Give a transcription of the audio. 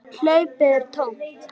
Hlaupið er tómt.